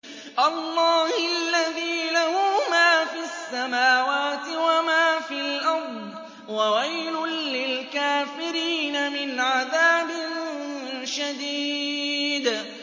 اللَّهِ الَّذِي لَهُ مَا فِي السَّمَاوَاتِ وَمَا فِي الْأَرْضِ ۗ وَوَيْلٌ لِّلْكَافِرِينَ مِنْ عَذَابٍ شَدِيدٍ